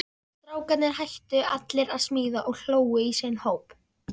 Strákarnir hættu allir að smíða og hlógu í sinn hóp.